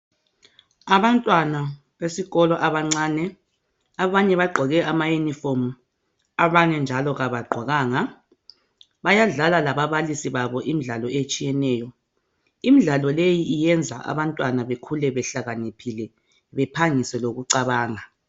Abantwana besikolo abancane abanye bagqoke ama uniform abanye njalo kabagqokanga .Bayadlala lababalisi babo imidlalo etshiyeneyo. Imidlalo leyi iyenza abantwana bekhule behlakaniphile bephangise lokucabanga